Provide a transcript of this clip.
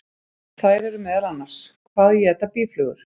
Þær eru meðal annars: Hvað éta býflugur?